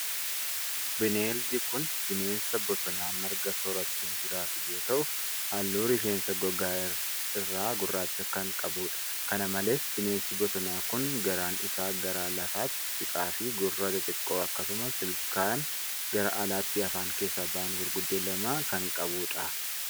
Bineeldi kun, bineensa bosonaa marga soorachuun jiraatu yoo ta'u, haalluu rifeensa gogaa irraa gurraacha kan qabuu dha. Kana malees bineensi bosonaa kun ,garaan isaa gara lafaatti siqaa fi gurra xixiqqoo akkasumas ilkaan gara alaatti afaan keessaa bahan gurguddoo lama kan qabuu dha.